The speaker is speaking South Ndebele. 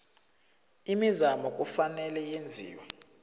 imizamo kufanele yenziwe